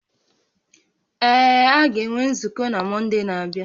Ee, a ga-enwe nzukọ na Mọnde na-abịa